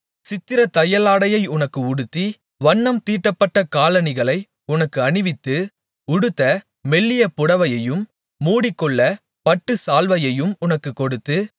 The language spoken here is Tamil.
சித்திரத்தையலாடையை உனக்கு உடுத்தி வண்ணம் தீட்டப்பட்ட காலணிகளை உனக்கு அணிவித்து உடுத்த மெல்லிய புடவையையும் மூடிக்கொள்ளப் பட்டுச்சால்வையையும் உனக்குக் கொடுத்து